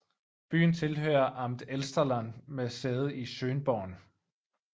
Byen tilhører Amt Elsterland med sæde i Schönborn